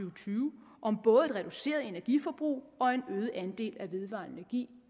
og tyve om både et reduceret energiforbrug og en øget andel af vedvarende energi